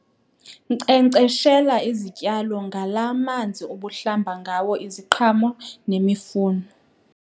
Nkcenkceshela izityalo ngalaa manzi ubuhlamba ngawo iziqhamo nemifuno.